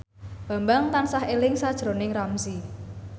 Bambang tansah eling sakjroning Ramzy